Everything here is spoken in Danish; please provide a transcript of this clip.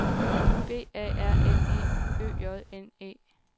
B A R N E Ø J N E